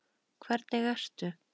Hvernig ertu??